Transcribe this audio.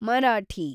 Marathi